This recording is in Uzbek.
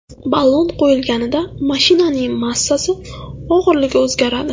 Ballon qo‘yilganida mashinaning massasi, og‘irligi o‘zgaradi.